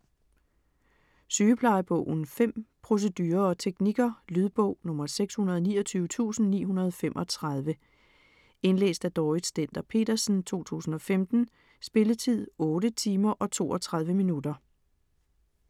Sygeplejebogen 5 Procedurer og teknikker. Lydbog 629935 Indlæst af Dorrit Stender-Petersen, 2015. Spilletid: 8 timer, 32 minutter.